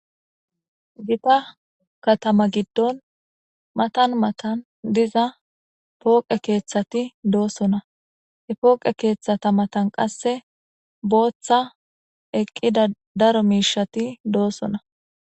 Giththa kathama gidon mathan mathan dizza foqqe kethathi dossona. He foqqe kethatha mathan qasse botha eqida daro mishathi dossona.